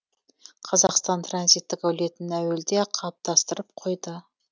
қазақстан транзиттік әлеуетін әуелде ақ қалыптастырып қойды